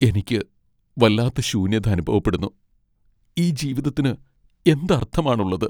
എനിക്ക് വല്ലാത്ത ശൂന്യത അനുഭവപ്പെടുന്നു, ഈ ജീവിതത്തിന് എന്ത് അർത്ഥമാണുള്ളത്?